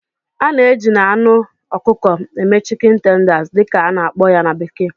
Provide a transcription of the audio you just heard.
A na-eji na anụ ọkụkọ eme"chicken tenders" dị ka a na-akpọ ya na bekee